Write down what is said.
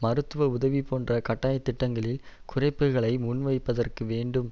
மருத்துவ உதவி போன்ற கட்டாயத் திட்டங்களில் குறைப்புக்களை முன்வைப்பதற்கு வேண்டும்